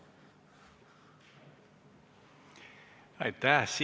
Aitäh!